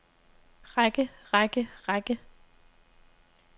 række række række